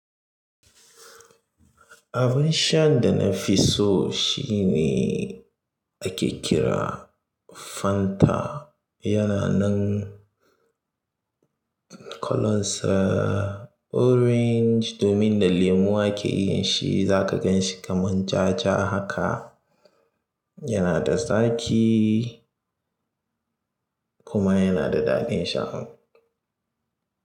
Abin shan da na fi so shine ake kira Fanta. Yana nan kalansa orange domin da lemu ake yin shi. Za ka ganshi kamar ja ja haka. Yana da zaƙi kuma yana da daɗin sha.